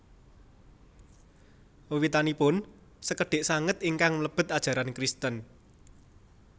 Wiwitanipun sekedhik sanget ingkang mlebet ajaran Kristen